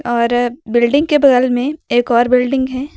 और बिल्डिंग के बगल में एक और बिल्डिंग है।